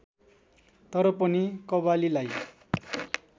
तर पनि कव्वालीलाई